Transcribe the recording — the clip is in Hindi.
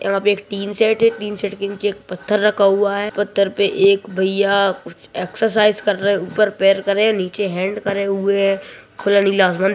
यहाँ पे एक टीन सेट है टीन सेट के नीचे एक पत्थर रखा हुआ है पत्थर पर रक भैया कुछ एक्सरसाइज़ कर रहे हैं ऊपर पैर करें हैं नीचे हेंड करें हुए हैं खुला नीला अस्समन --